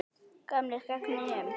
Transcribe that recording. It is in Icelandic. Gamlir gegn nýjum?